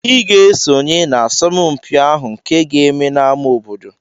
Ị ga-esonye n'asọmpi ahụ nke aga-eme n'ámá obodo!